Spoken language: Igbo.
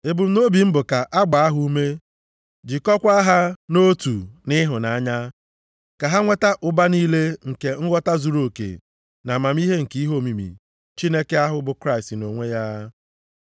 Ebumnobi m bụ ka a gbaa ha ume, jikọọkwa ha nʼotu nʼịhụnanya, ka ha nweta ụba niile nke nghọta zuruoke na amamihe nke ihe omimi Chineke ahụ bụ Kraịst nʼonwe ya.